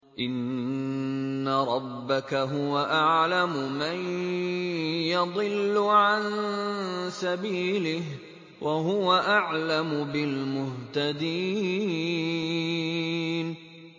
إِنَّ رَبَّكَ هُوَ أَعْلَمُ مَن يَضِلُّ عَن سَبِيلِهِ ۖ وَهُوَ أَعْلَمُ بِالْمُهْتَدِينَ